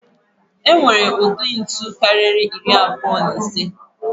E nwere ụdị ntu karịrị iri abụọ na ise.